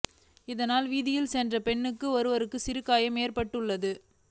இதனால் வீதியால் சென்ற பெண் ஒருவருக்கு சிறிய காயம் ஏற்பட்டுள்ளது